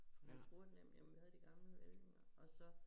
Jeg tror det jamen noget af de gamle ledninger og så